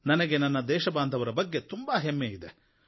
ನನಗೆ ನನ್ನ ದೇಶಬಾಂಧವರ ಬಗ್ಗೆ ತುಂಬಾ ಹೆಮ್ಮೆ ಇದೆ